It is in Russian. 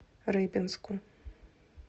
рыбинску